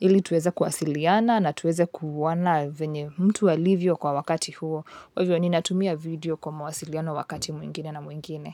ili tuweze kuwasiliana na tuweze kuona venye mtu alivyo kwa wakati huo. Kwa hivyo, ninatumia video kwa mawasiliano wakati mwingine na mwingine.